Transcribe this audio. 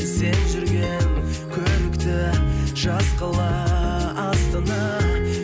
сен жүрген көрікті жас қала астана